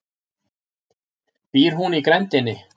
Býr hún í grenndinni?